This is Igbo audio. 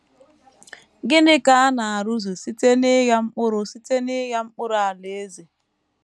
Gịnị ka a na - arụzu site n’ịgha mkpụrụ site n’ịgha mkpụrụ Alaeze?